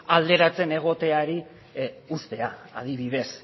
alderatzen egoteari uztea adibidez